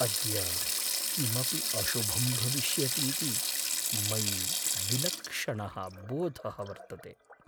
अद्य किमपि अशुभं भविष्यतीति मयि विलक्षणः बोधः वर्तते।